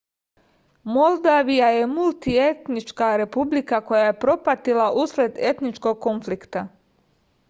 moldavija je multietnička republika koja je propatila usled etničkog konflikta